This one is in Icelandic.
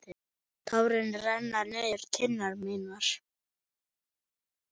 Tárin renna niður kinnar mínar.